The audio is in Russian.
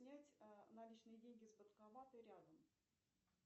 снять наличные деньги с банкомата рядом